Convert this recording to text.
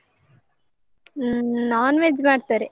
ಹ್ಮ್ non veg ಮಾಡ್ತಾರೆ.